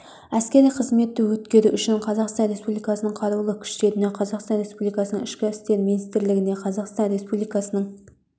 әскери қызметті өткеру үшін қазақстан республикасының қарулы күштеріне қазақстан республикасының ішкі істер министрлігіне қазақстан республикасының